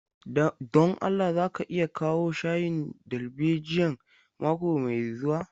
Don Allah za ka iya kawo shayin darbejiyan mako mai zuwa.